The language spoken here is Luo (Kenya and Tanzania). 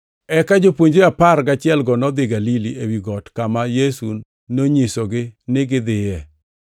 Eka jopuonjre apar gachielgo nodhi Galili, ewi got kama Yesu nonyisogi ni gidhiye.